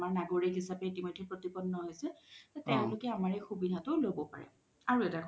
তেও আমাৰ নাগৰিক হিচাপে এতিমইধে প্ৰতিপন্ন হৈছে তেওলোকে আমাৰ এই সুবিধাটো লব পাৰে আৰু এটা কথা